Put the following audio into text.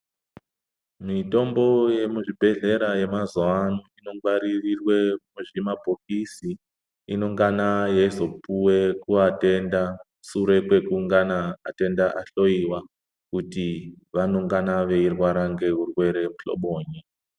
Mitombo yemuzvibhehlera yemazuuwa ano inongwaririrwe muzvimabhokisi inongana yeizopuwe kuvatenda sure kwekungana atenda ahloyiwa kuti vanongana veirwara ngezvirwere muhloboyi.